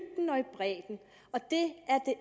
bredden og det